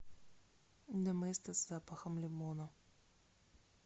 доместос с запахом лимона